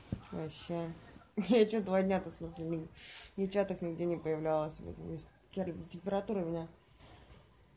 вообще я чего два дня то в смысле ни в чатах нигде не появлялась вот температура у меня